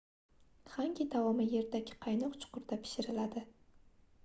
xangi taomi yerdagi qaynoq chuqurda pishiriladi